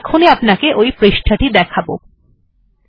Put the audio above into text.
আমি এখন ই আপনাকে ওই পৃষ্ঠা টি দেখাবো